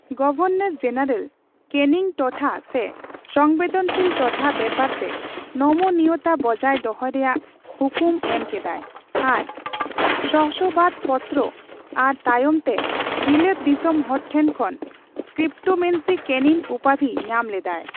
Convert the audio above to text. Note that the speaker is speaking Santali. ᱜᱚᱵᱷᱚᱨᱱᱚᱨ ᱡᱮᱱᱟᱨᱮᱞ ᱠᱮᱱᱤᱝ ᱴᱚᱴᱷᱟ ᱨᱮ ᱥᱚᱝᱵᱮᱫᱚᱱᱥᱤᱞ ᱴᱚᱴᱷᱟ ᱵᱮᱯᱟᱨ ᱨᱮ ᱱᱚᱢᱚᱱᱤᱭᱚᱛᱟ ᱵᱚᱡᱟᱭ ᱫᱚᱦᱚᱭ ᱨᱮᱭᱟᱜ ᱦᱩᱠᱩᱢ ᱮᱢ ᱠᱮᱫᱟᱭ ᱟᱨ ᱥᱚᱥᱵᱟᱛ ᱯᱚᱛᱨᱚ ᱟᱨ ᱛᱟᱭᱚᱢ ᱛᱮ ᱵᱤᱞᱟᱹᱛ ᱫᱤᱥᱚᱢ ᱦᱚᱲ ᱴᱷᱮᱱ ᱠᱷᱚᱱ 'ᱠᱯᱤᱯᱢᱮᱱᱥᱤ ᱠᱮᱱᱤᱱ' ᱩᱯᱟᱫᱤ ᱧᱟᱢ ᱞᱮᱫᱟᱭ ᱾